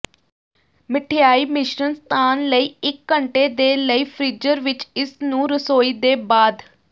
ਮਿਠਆਈ ਮਿਸ਼ਰਣ ਸਥਾਨ ਲਈ ਇਕ ਘੰਟੇ ਦੇ ਲਈ ਫ਼੍ਰੀਜ਼ਰ ਵਿੱਚ ਇਸ ਨੂੰ ਰਸੋਈ ਦੇ ਬਾਅਦ